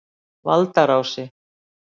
Valdarási